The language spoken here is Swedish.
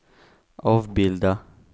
avbilda